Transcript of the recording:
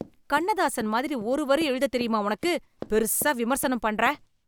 கண்ணதாசன் மாதிரி ஒரு வரி எழுத தெரியுமா உனக்கு, பெருசா விமர்சனம் பண்ற?